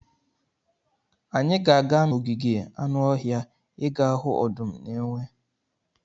Anyị ga-aga n'ogige anụ ọhịa ịga hụ ọdụm na enwe.